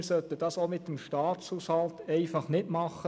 Wir sollten das auch mit dem Staatshaushalt nicht machen.